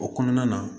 O kɔnɔna na